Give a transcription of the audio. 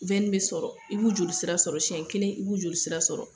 bɛ sɔrɔ i b'u joli sira sɔrɔ siɲɛ kelen i b'u joli sira sɔrɔ.